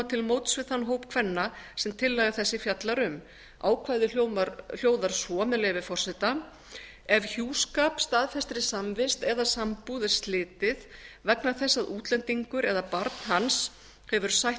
til móts við þann hóp kvenna sem tillaga þessi fjallar um ákvæðið hljóðar svo með leyfi forseta ef hjúskap staðfestri samvist eða sambúð er slitið vegna þess að útlendingur eða barn hans hefur sætt